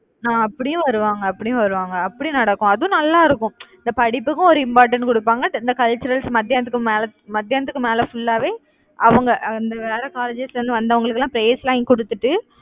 அஹ் அப்படியும் வருவாங்க அப்படியும் வருவாங்க. அப்படி நடக்கும் அதுவும் நல்லா இருக்கும் அது படிப்புக்கும் ஒரு important கொடுப்பாங்க. இந்த culturals மத்தியானத்துக்கும் மேலே மதியானத்துக்கும் மேலே full ஆவே அவங்க அந்த வேற colleges ல இருந்து வந்தவங்களுக்கு எல்லாம் prize லாம் கொடுத்துட்டு